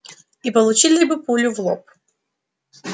и получили бы пулю в лоб